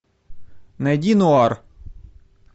найди нуар